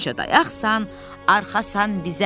Həmişə dayaqsan, arxasan bizə.